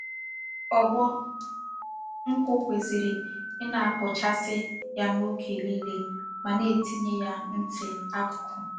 Ogbo nkwu kwesiri Ina-abochasi ya oge nile ma na-etinye ya nti akuku.